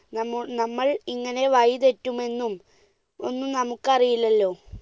നമ്മ~നമ്മൾ ഇങ്ങനെ വഴിതെറ്റുമെന്നും ഒന്നും നമുക്കറിയില്ലല്ലോ.